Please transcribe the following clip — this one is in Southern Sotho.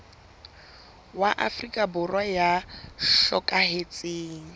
wa afrika borwa ya hlokahetseng